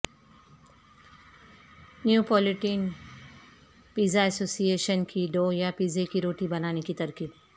Neapolitan pizza association کی dough یا پیزے کی روٹی بنانے کی ترکیب